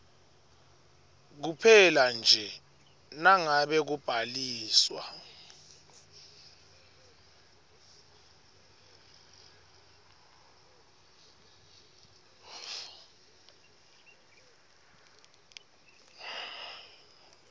kuphelanje nangabe kubhaliswa